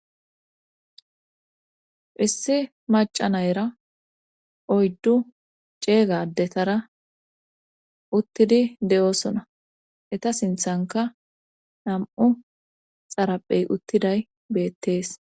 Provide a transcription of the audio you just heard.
Issi macca nayera oydu ceega addetara utidi de'osona etta sinthankka nam'u xarphe uttidays beetees.